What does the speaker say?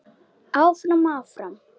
Áfram, áfram.